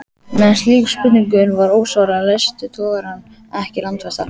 Meðan slíkum spurningum var ósvarað, leystu togaramenn ekki landfestar.